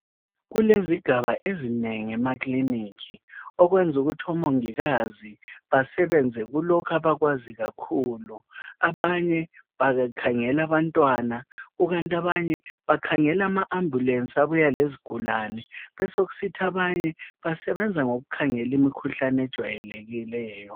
kulezigaba ezinengi emakilinika okwenza ukuthi omongikazi besebenze kulokho abakwaziyo kakhulu abanye babekhangela abatwana ikanti abanye bakhangela ama ambulensi abuya lezigulane besokusithi abanye imikhuhlane ejwayelekileyo